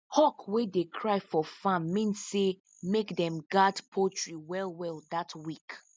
hawk wey dey cry for farm mean say make them guard poultry well well that week